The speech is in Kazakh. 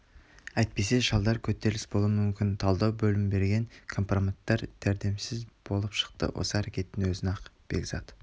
әйтпесе шалдар көтеріліс болуы мүмкін талдау бөлім берген компроматтар дәрменсіз болып шықты осы әрекетінің өзімен-ақ бекзат